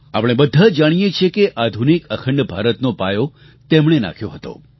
આપણે બધા જાણીએ છીએ કે આધુનિક અખંડ ભારતનો પાયો તેમણે નાખ્યો હતો